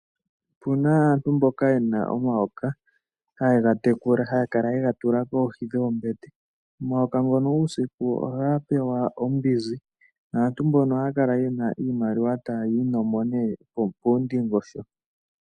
Opuna aantu mboka yena omayoka haye ga tekula, haya kala yega tula koohi dhoombete. Omayoka ngono uusiku ohaga pewa ombinzi naantu mbono ohaya kala yena iimaliwa tayi inomo nee poondingosho.